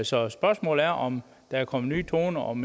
så spørgsmålet er om der er kommet nye toner og om